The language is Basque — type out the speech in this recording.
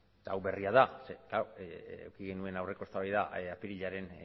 eta hau berria da eduki genuen aurreko eztabaida apirilaren